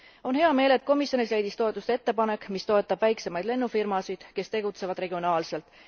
On hea meel, et komisjonis leidis toetust ettepanek, mis toetab väiksemaid lennufirmasid, kes tegutsevad regionaalselt.